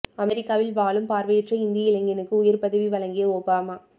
அமெரிக்காவில் வாழும் பார்வையற்ற இந்திய இளைஞனுக்கு உயர் பதவி வழங்கிய ஒபாமா